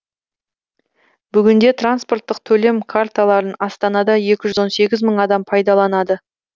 бүгінде транспорттық төлем карталарын астанада екі жүз он сегіз мың адам пайдаланады